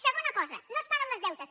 segona cosa no es paguen els deutes